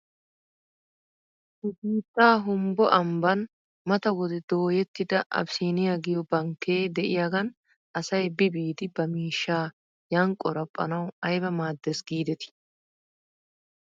Nu biitta humbbo ambban mata wode dooyettida abisiiniyaa giyoo bankkee de'iyaagan asay bi biidi ba miishshaa yan qoraphphaw ayba maaddes giidetii?